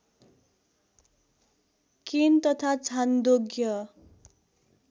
केन तथा छान्दोग्य